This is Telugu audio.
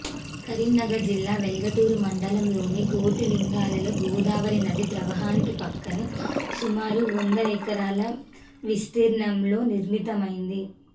కరీంనగర్ జిల్లా వెల్గటూర్ మండలంలోని కోటిలింగాలలో గోదావరి నది ప్రవాహానికి పక్కనే సుమారు వంద ఎకరాల విస్తీర్ణంలో నిర్మితమైంది